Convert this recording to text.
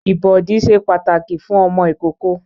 Ìbọ̀dí ṣe pàtàkì fún ọmọ ìkókó